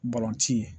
Balontan ye